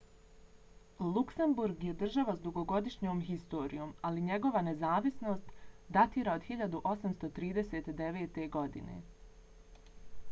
luksemburg je država s dugogodišnjom historijom ali njegova nezavisnost datira od 1839. godine